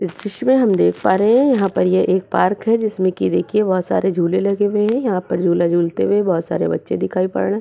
इस दृश्य में हम देख पा रहे यहाँ पर ये एक पार्क है जिसमे की देखिये बहोत सारे झूले लगे हुए हैं। यहाँ पर झूला झूलते हुए बोहोत सारे बच्चे दिखाई पड़ रहे।